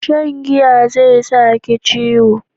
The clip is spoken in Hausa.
Shan giya zai sa ki ciwo